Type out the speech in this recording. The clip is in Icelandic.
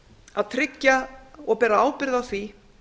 að tryggja og bera ábyrgð á því